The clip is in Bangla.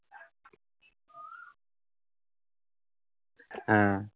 হ্যাঁ